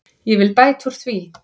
Ég vil bæta úr því.